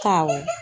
Awɔ